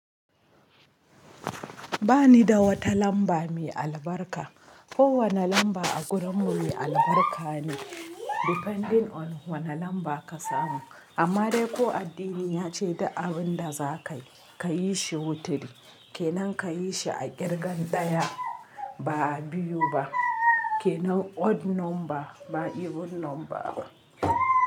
Ba ni da wata lamba mai albarka. Kowane lamba a gurinmu mai albarka ne depending on wane lamba ka samu. Amma dai ko addini ya ce duk abin da za ka yi, ka yi shi wutiri. Ke nan ka yi shi a ƙirgan ɗaya ba a biyu ba. Ke nan odd number ba even number ba.